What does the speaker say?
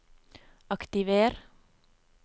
aktiver